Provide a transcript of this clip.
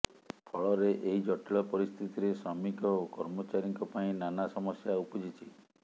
ଫଳରେ ଏହି ଜଟିଳ ପରିସ୍ଥିତିରେ ଶ୍ରମିକ ଓ କର୍ମଚାରୀଙ୍କ ପାଇଁ ନାନା ସମସ୍ୟା ଉପୁଜିଛି